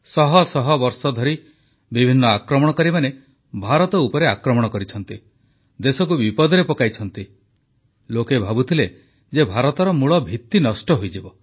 ଶହ ଶହ ବର୍ଷଧରି ବିଭିନ୍ନ ଆକ୍ରମଣକାରୀମାନେ ଭାରତ ଉପରେ ଆକ୍ରମଣ କରିଛନ୍ତି ଦେଶକୁ ବିପଦରେ ପକାଇଛନ୍ତି ଲୋକେ ଭାବୁଥିଲେ ଯେ ଭାରତର ମୂଳଭିତ୍ତି ନଷ୍ଟ ହୋଇଯିବ